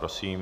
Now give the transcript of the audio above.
Prosím.